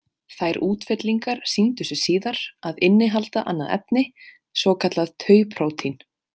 Þær útfellingar sýndu sig síðar að innihalda annað efni, svokallað tau-prótín.